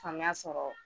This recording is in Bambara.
Faamuya sɔrɔ